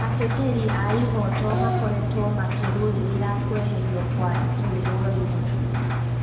Ateteri a ihoto makoretwo makĩrũĩrira kweherio kwa ĩtũĩro rĩu